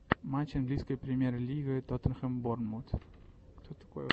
матч английской премьер лига тоттенхэм борнмут